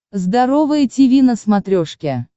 здоровое тиви на смотрешке